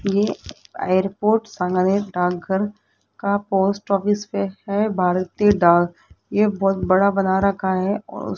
ये एयरपोर्ट सांगानेर डाकघर का पोस्ट ऑफिस पे है भारतीय डाक ये बहोत बड़ा बना रखा है और --